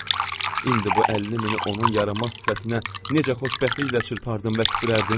Ax, indi bu 50 mini onun yarımaz sifətinə necə xoşbəxtliklə çırpardım və tüpürərdim?